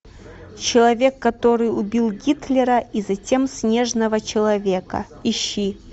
человек который убил гитлера и затем снежного человека ищи